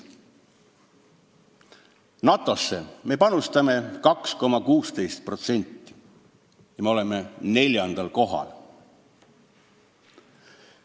NATO-sse me panustame 2,16% ja oleme neljandal kohal.